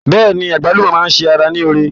Bẹ́ẹ̀ni, àgbálùmọ́ máa ṣe ara ní oore.